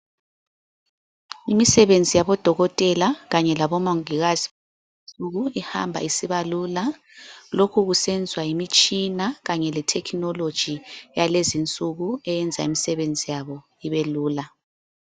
Imisebenzi yabo dokotela kanye labo mongikazi ihamba isiba lula lokhu kusenzwa yimitshina kanye le technology yalezi nsuku eyenza imisebenzi yabo ibelula.